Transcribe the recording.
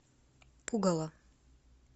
пугало